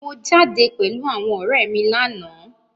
Mo jáde pẹ̀lú àwọn ọ̀rẹ́ mi láàná.